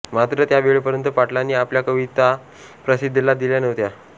मात्र त्या वेळेपर्यंत पाटलांनी आपल्या कविता प्रसिद्धीला दिल्या नव्हत्या